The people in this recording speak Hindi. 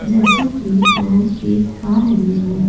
जैसा कि मैं देख पा रही हूँ --